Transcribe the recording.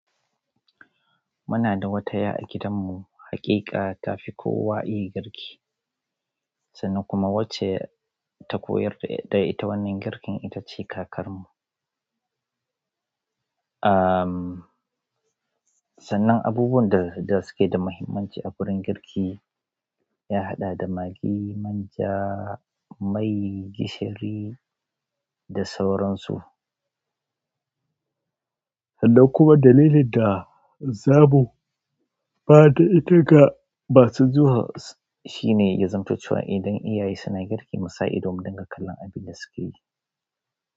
Muna da wata ya a gidanmu, haƙiƙa ta fi kowa iya girki. Sannan kuma wacce ta koyar da ita wannan girkin ita ce kakarmu. Sannan abubuwan da suke da muhimmanci a wurin girki ya haɗa da magi, manja, mai, gishiri da sauransu. Kuma dalilin da zaɓo ba ta ita ba su zuwa, shine zantaccen idan iyaye suna girki, musa ido mu dinga kallon abin da suke yi.